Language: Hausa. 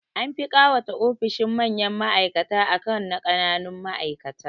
An fi ƙawata ofishin manyan ma'aikata akan na ƙananun ma'aikata